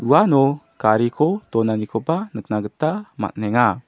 uano gariko donanikoba nikna gita man·enga.